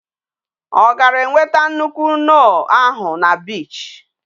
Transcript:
O gara enweta nuke-noh ahu na beach?